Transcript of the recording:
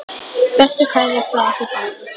Bestu kveðjur frá okkur báðum.